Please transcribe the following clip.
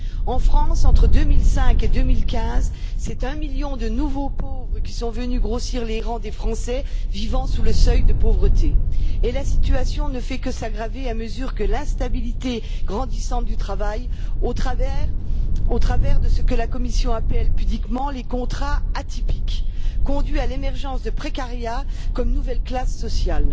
En France, entre 2005 et 2015, c'est un million de nouveaux pauvres qui sont venus grossir les rangs des Français vivant sous le seuil de pauvreté. La situation ne fait que s'aggraver à mesure que l'instabilité grandissante du travail, au travers de ce que la Commission appelle pudiquement les contrats atypiques, conduit à l'émergence de précariat comme nouvelle classe sociale.